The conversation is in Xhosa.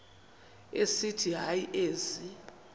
esithi hayi ezi